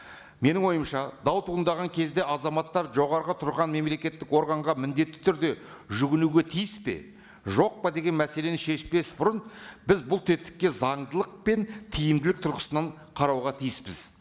менің ойымша дау туындаған кезде азаматтар жоғарғы тұрған мемлекеттік органға міндетті түрде жүгінуге тиіс пе жоқ па деген мәселені шешпес бұрын біз бұл тетікке заңдылық пен тиімділік тұрғысынан қарауға тиіспіз